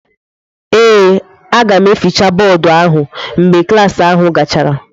Ee, aga m efechi bọọdụ ahụ mgbe klas ahụ gachara.